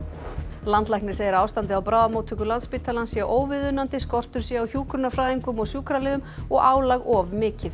landlæknir segir að ástandið á bráðamóttöku Landspítalans sé óviðunandi skortur sé á hjúkrunarfræðingum og sjúkraliðum og álag of mikið